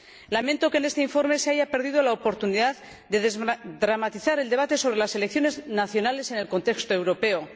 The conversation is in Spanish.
Lamento que en este informe se haya perdido la oportunidad de desdramatizar el debate sobre las selecciones nacionales en el contexto europeo.